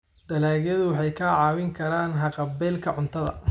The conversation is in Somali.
dalagyadu waxay kaa caawin karaan haqab-beelka cuntada.